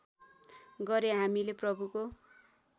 गरे हामीले प्रभुको